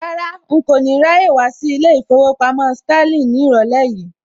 Rárá, n kò ní ráyè wá sí ilé ìfowópamọ́ Sterling ní ìrọ̀lẹ́ yìí